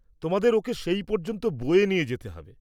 তোমাদের ওঁকে সেই পর্যন্ত বয়ে নিয়ে যেতে হবে।